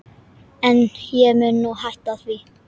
En ég mun hætta því.